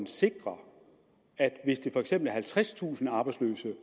sikre hvis det for eksempel er halvtredstusind arbejdsløse